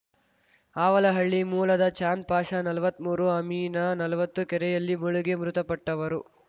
ಅವಲಹಳ್ಳಿ ಮೂಲದ ಚಾಂದ್‌ ಪಾಷಾನಲ್ವತ್ಮೂರು ಅಮಿನಾನಲ್ವತ್ತು ಕೆರೆಯಲ್ಲಿ ಮುಳುಗಿ ಮೃತಪಟ್ಟವರು